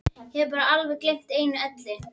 Ég hef bara alveg gleymt einu elli.